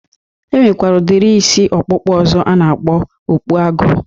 E nwekwara udiri isi ọkpụkpụ ọzọ a na-akpọ okpu agụ.